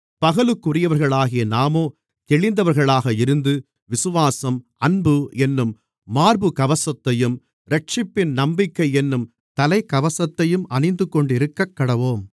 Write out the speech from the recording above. பகலுக்குரியவர்களாகிய நாமோ தெளிந்தவர்களாக இருந்து விசுவாசம் அன்பு என்னும் மார்புக்கவசத்தையும் இரட்சிப்பின் நம்பிக்கையென்னும் தலைக்கவசத்தையும் அணிந்துகொண்டிருக்கக்கடவோம்